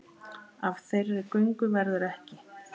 Af þeirri göngu verður ekki.